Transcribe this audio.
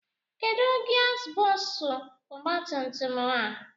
Kedụ gia bọksụ ọgbatumtum a?